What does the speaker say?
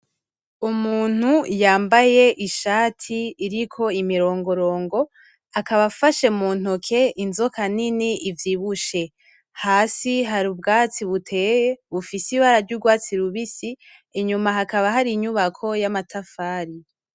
Umuntu yambaye ishati iriko imirongorongo akaba afashe mu ntoke inzoka nini ivyibushe, hasi hari ubwatsi buteye bufise ibara ry'urwatsi rubisi, inyuma hakaba hari inyubako y'amatafari.